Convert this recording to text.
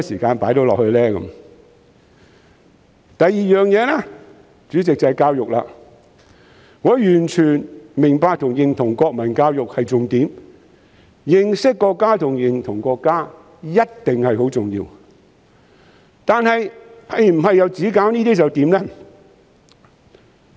主席，另一方面是教育，我完全明白和認同國民教育是重點，認識和認同國家一定是很重要的，但是否只做這些就可以了？